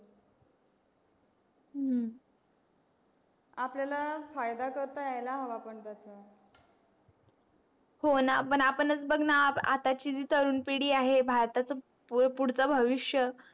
हम्म आपल्याला फायदा करता यायला हवा पण त्याच्या होणा आपणच बग णा आताची जी तरुण पिडी आहे भारताच पुडच भविष्य